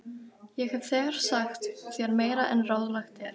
Ég hef þegar sagt þér meira en ráðlegt er.